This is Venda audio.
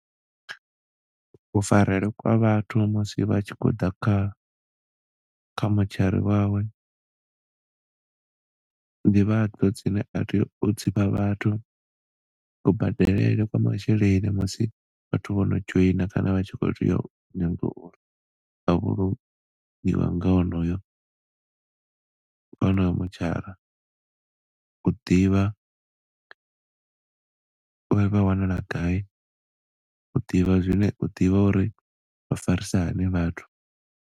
Ku farele kwa vhathu musi vha tshi khouḓa kha motshari wawe, ndivhadzo dzine a tea u dzifha vhathu, kubadelele kwa masheleni musi vhathu vho no dzhoina kana vha tshi khou tea uri, u nyaga uri vha vhulunge, u divha uri vha farisa hani vhathu.